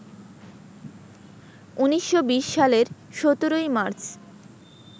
১৯২০ সালের ১৭ মার্চ